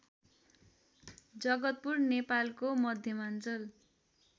जगतपुर नेपालको मध्यमाञ्चल